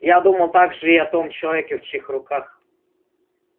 я думал также и о том человеке в чьих руках